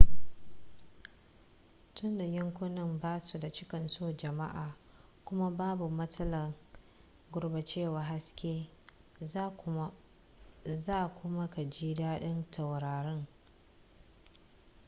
tunda yankunan ba su da cinkoson jama'a kuma babu matsalar gurɓacewar haske za kuma ka ji daɗin taurarin